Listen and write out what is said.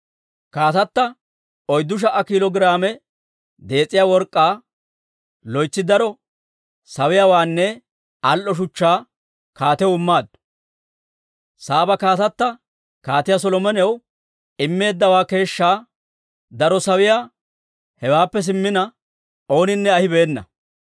Kaatata oyddu sha"a kiilo giraame dees'iyaa work'k'aa, loytsi daro sawuwaanne al"o shuchchaa kaatiyaw immaaddu. Saaba kaatatta Kaatiyaa Solomonaw immeeddawaa keeshshaa daro sawuwaa hewaappe simmina ooninne ahibeena.